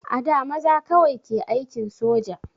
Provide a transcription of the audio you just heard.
A da maza kawai ke aikin soja